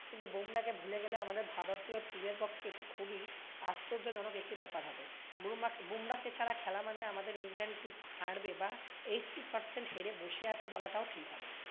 কিন্তু বুমরাহ কে ভুলে গেলে আমাদের ভারতীয় team এর পক্ষে এটি খুবই আশ্চযজনক একটি বেপার হবে। বুমা~ বুমরাহকে ছাড়া খেলা মানে আমাদের ইন্ডিয়ান team হারবে বা eighty percent হেরে বসে আছে বলাটাও ঠিক হবে